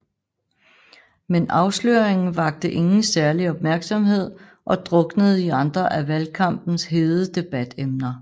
Men afsløringen vakte ingen særlig opmærksomhed og druknede i andre af valgkampens hede debatemner